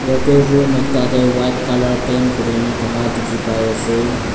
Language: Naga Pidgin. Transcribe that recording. yatae room ekta tae white colour paint kurina thaka dikhipaiase.